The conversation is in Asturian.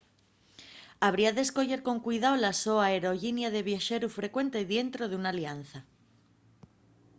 habría d’escoyer con cuidao la so aerollinia de viaxeru frecuente dientro d’una alianza